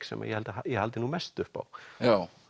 sem ég held að ég haldi nú mest upp á já